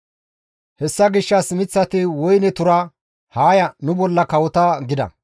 «Hessa gishshas miththati woyne tura, ‹Haa ya, nu bolla kawota› gida.